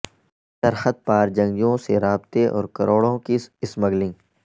سرحد پار جنگجوئوں سے رابطے اور کروڑوں کی سمگلنگ